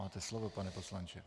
Máte slovo, pane poslanče.